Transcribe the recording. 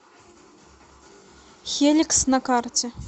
хеликс на карте